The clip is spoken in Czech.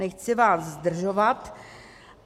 Nechci vás zdržovat.